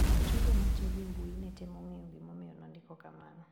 Jogo matiyo gi mbui netemo ng`eyo gimomiyo nondiko kamano.